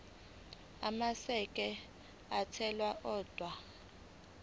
amasheke athunyelwa odwa